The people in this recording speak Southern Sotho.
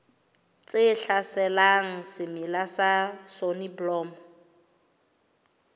tse hlaselang semela sa soneblomo